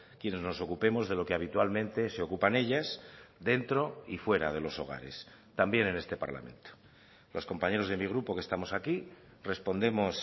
quienes nos ocupemos de lo que habitualmente se ocupan ellas dentro y fuera de los hogares también en este parlamento los compañeros de mi grupo que estamos aquí respondemos